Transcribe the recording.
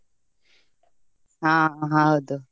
ಹಾ ಹೌದು.